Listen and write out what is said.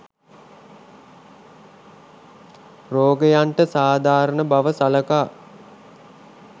රෝගයන්ට සාධාරණ බව සලකා